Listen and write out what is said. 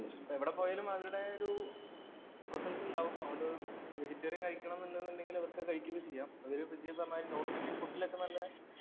ഇപ്പൊ എവിടെപ്പോയാലും അവരുടെ ഒരു presence ഉണ്ടാകും. അതുകൊണ്ട് vegetarian കഴിക്കണമെന്നുണ്ടെങ്കിൽ അവർക്ക് കഴിക്കുകയൊക്കെ ചെയ്യാം. അതുപോലെ ഈ പറഞ്ഞമാതിരി north indian food ഇലൊക്കെ നല്ല